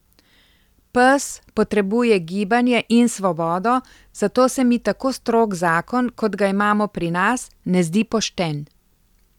Pes potrebuje gibanje in svobodo, zato se mi tako strog zakon, kot ga imamo pri nas, ne zdi pošten.